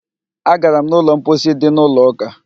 Agara m n'ụlọ mposi dị n'ụlọ ụka